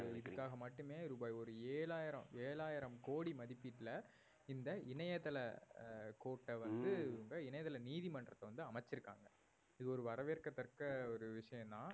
இதுக்காக மட்டுமே ரூபாய் ஒரு ஏழாயிரம் ஏழாயிரம் கோடி மதிப்பீட்ல இந்த இணையதள அஹ் court ஐ வந்து இணையதள நீதிமன்றத்தை வந்து அமைச்சிருக்காங்க இது ஒரு வரவேற்கத்தக்க ஒரு விஷயம் தான்